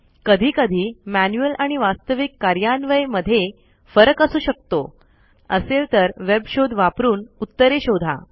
कधी कधी मैनुअल आणि वास्तविक कार्यान्वय मध्ये फरक असू शकतो असेल तर वेब शोध वापरून उत्तरे शोधा